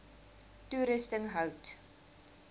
toerusting hout